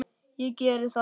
Ég geri það